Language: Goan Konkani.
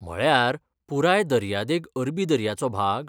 म्हळ्यार, पुराय दर्यादेग अरबी दर्याचो भाग?